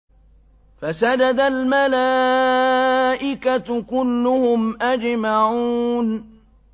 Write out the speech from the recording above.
فَسَجَدَ الْمَلَائِكَةُ كُلُّهُمْ أَجْمَعُونَ